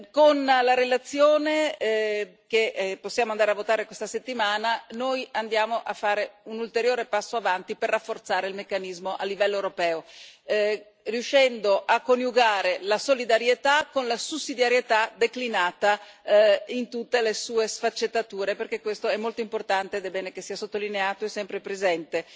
Con la relazione che possiamo votare questa settimana, noi andiamo a fare un ulteriore passo in avanti per rafforzare il meccanismo a livello europeo, riuscendo a coniugare la solidarietà con la sussidiarietà declinata in tutte le sue sfaccettature, perché questo è molto importante ed è bene che sia sottolineato e sempre presente.